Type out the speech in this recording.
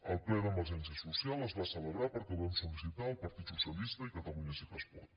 el ple d’emergència social es va celebrar perquè el vam sol·licitar el partit socialista i catalunya sí que es pot